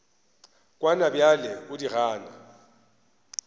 kwana bjale o di gana